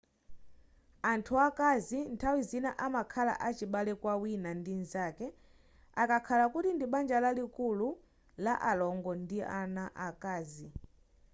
anthu akazi nthawi zina amakhala achibale kwa wina ndi mzake akakhala kuti ndi banja lalikulu la alongo ndi ana akazi